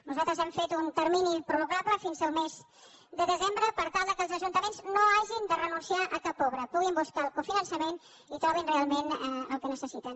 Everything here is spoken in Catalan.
nosaltres hem fet un termini prorrogable fins al mes de desembre per tal que els ajuntaments no hagin de renunciar a cap obra puguin buscar el cofinançament i trobin realment el que necessiten